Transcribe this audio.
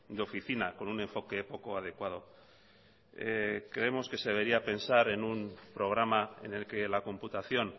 de oficina con un enfoque poco adecuado creemos que se debería pensar en un programa en el que la computación